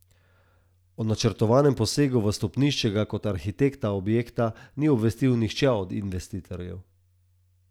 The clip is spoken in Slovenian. O načrtovanem posegu v stopnišče ga kot arhitekta objekta ni obvestil nihče od investitorjev.